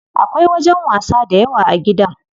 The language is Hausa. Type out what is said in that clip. Akwai wajen wasa dayawa a gidan.